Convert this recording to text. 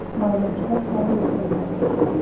Marvin, slökktu á niðurteljaranum.